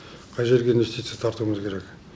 қай жерге инвестиция тартуымыз керек